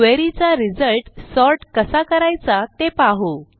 query चा result sort कसा करायचा ते पाहू